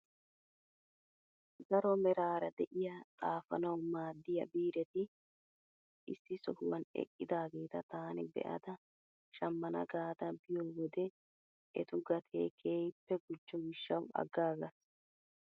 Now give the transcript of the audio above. Daro meraara de'iyaa xaafanawu maaddiyaa biireti issi sohuwaan eqqidaageta taani be'ada shammana gaada biyoo wode etu gatee keehippe gujjo gishshawu aggaagas!